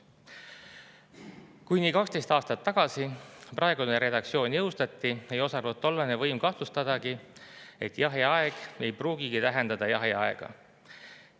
Kui 12 aastat tagasi praegune redaktsioon jõustati, ei osanud tollane võim kahtlustadagi, et jahiaeg ei pruugigi tähendada jahiaega.